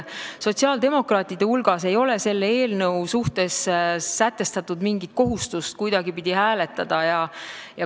Sotsiaaldemokraatide hulgas ei ole selle eelnõu suhtes sätestatud mingit kohustust kuidagipidi hääletada.